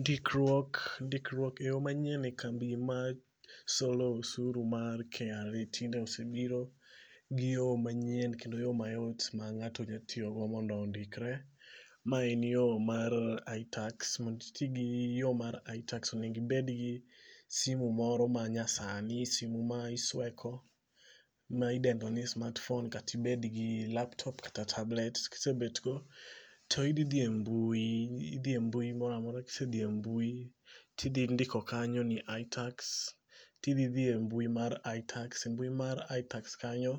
Ndikruok ndikruok e yo manyien e kambi masolo usuru mar KRA tinde osebiro gi yo manyien kendo yo mayot ma ng'ato nya tiyogo mondo ondikre. Ma en yo mar iTax. Mond iti gi yo mar iTax onengi bed gi simu moro ma nyasani. Simu ma isweko. Ma idendo ni smartphone katbed gilaptop kata tablet. Kisebet go to idhi dhi embui. I dhi e mbui moro amora. Kise dhi e mbui tidhi ndiko kanyo ni iTax. Tidhi dhi e mbui mar iTax. E mbui mar iTax kanyo,